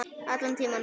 Allan tímann.